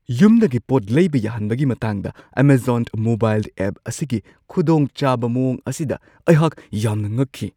ꯌꯨꯝꯗꯒꯤ ꯄꯣꯠ ꯂꯩꯕ ꯌꯥꯍꯟꯕꯒꯤ ꯃꯇꯥꯡꯗ ꯑꯦꯃꯥꯖꯣꯟ ꯃꯣꯕꯥꯏꯜ ꯑꯦꯞ ꯑꯁꯤꯒꯤ ꯈꯨꯗꯣꯡꯆꯥꯕ ꯃꯋꯣꯡ ꯑꯁꯤꯗ ꯑꯩꯍꯥꯛ ꯌꯥꯝꯅ ꯉꯛꯈꯤ ꯫